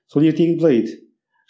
сол ертегі былай еді